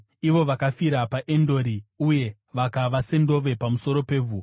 ivo vakafira paEndori uye vakava sendove pamusoro pevhu.